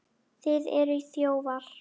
Þið eruð þjófar!